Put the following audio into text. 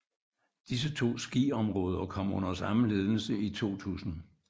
Disse to skiområder kom under samme ledelse i 2000